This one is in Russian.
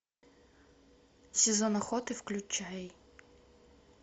сезон охоты включай